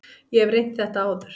Ég hef reynt þetta áður.